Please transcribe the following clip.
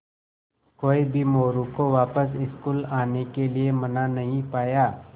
कोई भी मोरू को वापस स्कूल आने के लिये मना नहीं पाया